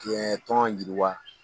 tɔn yiriwa.